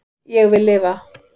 Ég vil lifa